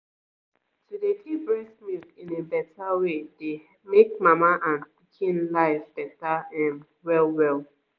to dey keep breast milk in a beta way dey make mama and pikin life beta ehm well well.